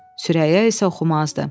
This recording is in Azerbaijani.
Sürəyya isə oxumazdı.